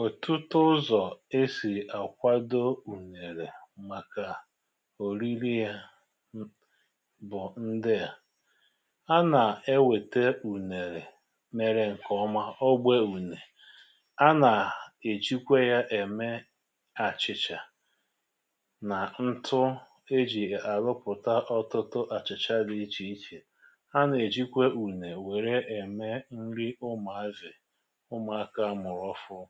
òtutu ụzọ̀ e sì àkwado ùnèrè màkà òriri yȧ bụ̀ ndịà: A nà-ewèta ùnèrè merė ǹkèọma, ogbe ùnè, a nà-èjikwe ya ème achịchà nà ntụ e jì àrụpụ̀ta ọtụtụ àchị̀chà dị ichè ichè. A nà-èjikwe ùnè wère ème nri ụmụ̀ azị̀, ụmụaka a mụrụ òfuru.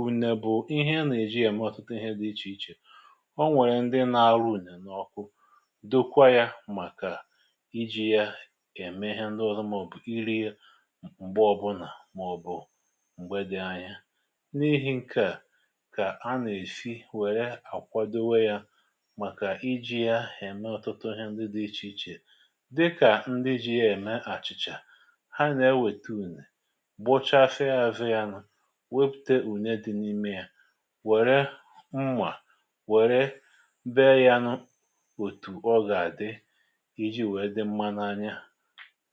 ùne bụ̀ ihe a nà-èji ème ọtụtụ ihe dị ichè ichè. ọ nwèrè ndị nȧ-arụ ùnè n’ọkụ, dokwa yȧ màkà iji̇ ya ème ihe ndị ọzọ, màọ̀bụ̀ iri̇ m̀gbe ọbụnà, màọ̀bụ̀ m̀gbe dị anya. N’ihì ǹke à, kà a nà-èsi wèrè àkwadowe yȧ màkà iji̇ ya ème ọtụtụ ihe ndị dị̇ ichè ichè dịkà; ndị ji̇ ya ème àchìchà, ha nà-ewèta ùnè, gbochasịa azụ ya nụ̇, wepute ùne dị n’ime ya, wère mmà, wère beė yanụ òtù ọ gà-àdị, iji̇ wee dị mma n’anya,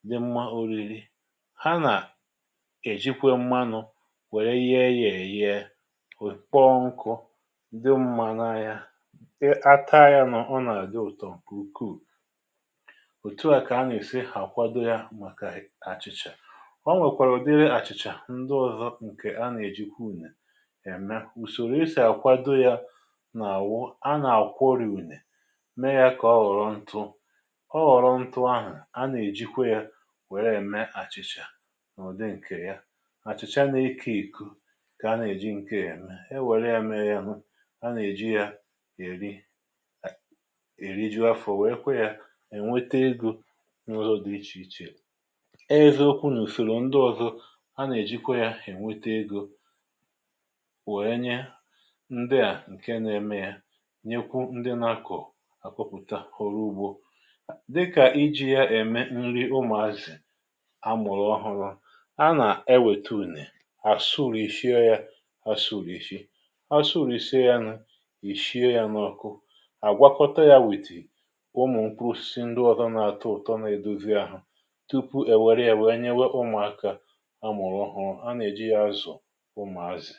di mma oriri. Ha nà èjikwe mmanụ̇ wère ye ya èyee, ò kpọọ nkụ, dị mma nȧ-anya. ata yȧ nọ, ọ nà-àdị ụ̀tọ nkè ùkwù. òtù a kà a nà-èsi hà àkwado ya màkà achịcha. O nwèkwàrà ùdịri àchịcha ǹdi ọzọ ànà-ejikwa ùnè è me. ùsòrò esì àkwado yȧ nà à wụ, a nà àkwori ùne, mee yȧ kà ọ ghọ̀rọ̀ ntụ, ọ ghọ̀rọ̀ ntụ̇ ahụ̀ a nà-èjikwa yȧ nwère ème àchị̇chà n'ụ̀dị ǹkè ya. Achị̀chà a nà-eku ìkù kà a nà-èji ǹke ème. E nwère ya mee yȧ hụ, a nà-èji ya èri, èri ju afọ̀. Wère kwa yȧ ènwete egȯ n’ụzọ dị ichè ichè. Eziokwu̇ nà ùsòrò ndị ọ̇zọ a nà-èjikwa yȧ ènwete egȯ, wèe nye ndị à ǹke na-eme yȧ, nyekwu o ndị na-akọ̀, àkọ̀pụ̀ta ọrụ ugbȯ. Dịkà iji̇ ya ème nri ụmụ̀ azị̀ amụ̀rụ ọhụrụ, a nà-ewètà ùnè, àsụrìshie yȧ asụrìshi. Asụrìshie ya nụ, ìshie ya n’ọkụ, àgwakọta yȧ witì ụmụ̀ mkpụrụ osisi ǹdi ọzọ nà-atọ ụ̀tọ na-edozi ȧhụ̇, tupu èwère yȧ wee nyewe ụmụ̀aka a mụ̀rụ̀ ọhụrụ̇. A nà-èji ya azụ̀ ụmụazị.